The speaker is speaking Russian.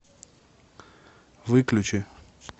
выключи